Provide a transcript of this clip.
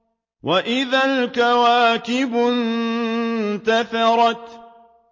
وَإِذَا الْكَوَاكِبُ انتَثَرَتْ